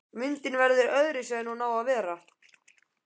Myndin verður öðruvísi en hún á að vera.